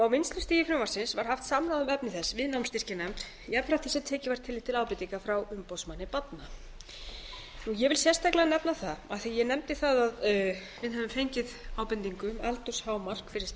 á vinnslustigi frumvarpsins var haft samráð um efni þess við námsstyrkjanefnd jafnframt því sem tekið var tillit til ábendinga frá umboðsmanni barna ég vil sérstaklega nefna það af því að ég nefndi það að við hefðum fengið ábendingu um aldurshámark